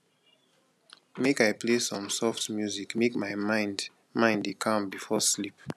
make i play some soft music make my mind mind dey calm before sleep